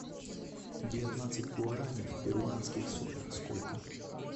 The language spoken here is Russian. девятнадцать гуарани в перуанских солях сколько